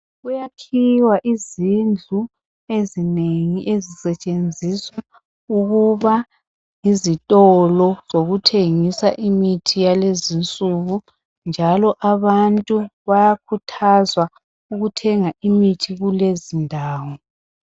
Kuyakhiwe izindlu ezinengi ezisetshenziswa ukuba zokuthengisa imithi yalezi insuku njalo abantu bayakhuthazwa ukuthenga imithi kulezi ndawo